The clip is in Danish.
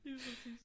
Lige præcis